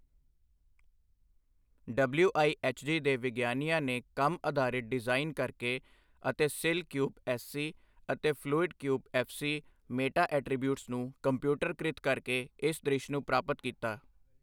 WIHG ਦੇ ਵਿਗਿਆਨੀਆਂ ਨੇ ਕੰਮ ਅਧਾਰਿਤ ਡਿਜ਼ਾਈਨ ਕਰਕੇ ਅਤੇ ਸਿੱਲ ਕਿਊਬ ਐੱਸਸੀ ਅਤੇ fluid cube FC meta attributes ਨੂੰ ਕੰਪਿਊਟਰਕ੍ਰਿਤ ਕਰਕੇ ਇਸ ਦ੍ਰਿਸ਼ ਨੂੰ ਪ੍ਰਾਪਤ ਕੀਤਾ।